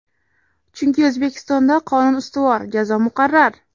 Chunki O‘zbekistonda qonun ustuvor, jazo muqarrar.